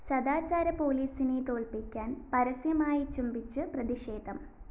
സദാചാര പോലീസിനെ തോല്‍പ്പിക്കാന്‍ പരസ്യമായി ചുംബിച്ചു പ്രതിഷേധം